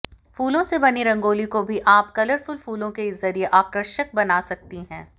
फूलो से बनी रंगोली को भी आप कलरफुल फूलों के जरिए आकर्षक बना सकती हैँ